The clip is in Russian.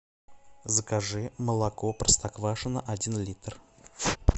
закажи молоко простоквашино один литр